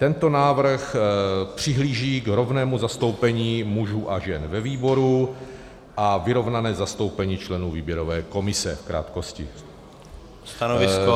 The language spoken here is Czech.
Tento návrh přihlíží k rovnému zastoupení mužů a žen ve výboru a vyrovnané zastoupení členů výběrové komise, v krátkosti.